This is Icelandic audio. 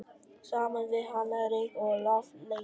Saman við hana ryk og loftleysi.